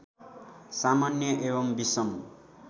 सामान्य एवं विषम